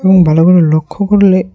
এবং ভালো করে লক্ষ্য করলে--